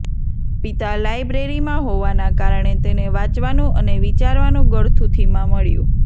પિતા લાઈબ્રેરીમાં હોવાના કારણે તેને વાંચવાનું અને વિચારવાનું ગળથૂથીમાં મળ્યું